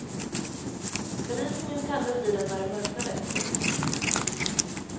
Belysningen tändes i den när det mörknade. punkt